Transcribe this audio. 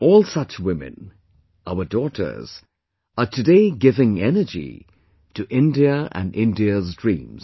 All such women, our daughters, are today giving energy to India and India's dreams